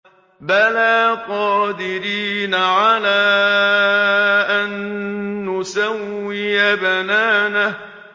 بَلَىٰ قَادِرِينَ عَلَىٰ أَن نُّسَوِّيَ بَنَانَهُ